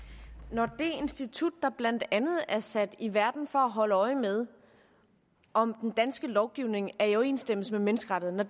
når det institut der blandt andet er sat i verden for at holde øje med om den danske lovgivning er i overensstemmelse med menneskerettighederne